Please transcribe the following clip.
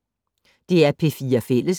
DR P4 Fælles